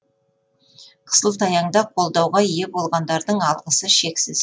қысылтаяңда қолдауға ие болғандардың алғысы шексіз